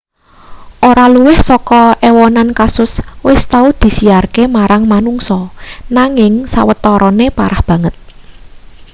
ora luwih saka ewonan kasus wis tau disiarke marang manungsa nanging sawetarane parah banget